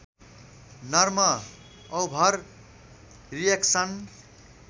नर्म over reaction